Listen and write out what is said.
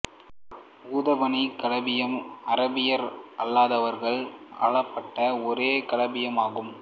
உதுமானிய கலீபகம் அராபியர் அல்லாதவர்களால் ஆளப்பட்ட ஒரே கலீபகம் ஆகும்